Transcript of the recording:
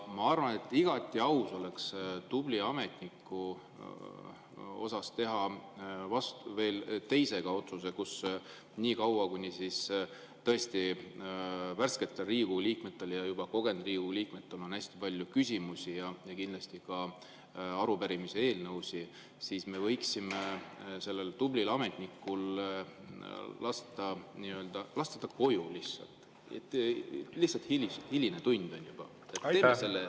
Ma arvan, et igati aus oleks tubli ametniku kohta teha veel teinegi otsus: niikaua, kuni värsketel Riigikogu liikmetel ja juba kogenud Riigikogu liikmetel on hästi palju küsimusi ja kindlasti ka arupärimisi ja eelnõusid, me võiksime selle tubli ametniku lasta koju, lihtsalt hiline tund on juba.